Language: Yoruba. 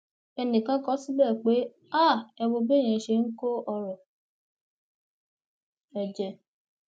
ẹnìkan kọ ọ síbẹ pé ha ẹ wo béèyàn ṣe ń kó ọrọ ẹ jẹ